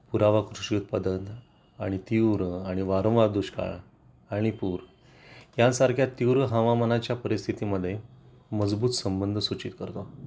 पुरावा कृषी उत्पादन आणि तीव्र आणि वारंवार दुष्काळ आणि पूर यांसारख्या तीव्र हवामानाच्या परिस्थिती मध्ये मजबूत संबंध सूचित करतो